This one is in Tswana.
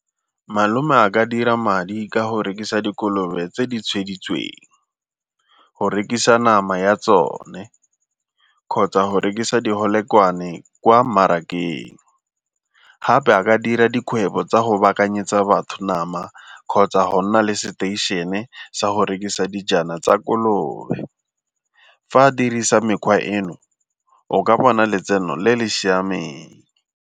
Malome a ka dira madi ka go rekisa dikolobe tse di tshweditsweng, go rekisa nama ya tsone, kgotsa go rekisa di kwa mmarakeng. Gape a ka dira dikgwebo tsa go baakanyetsa batho nama kgotsa go nna le seteišene sa go rekisa dijana tsa kolobe. Fa a dirisa mekgwa eno o ka bona letseno le le siameng.